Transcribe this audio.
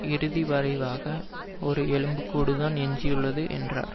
இறுதி வரைவாக ஒரு எலும்பு கூடு தான் எஞ்சியுள்ளது என்றார்